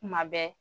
Kuma bɛɛ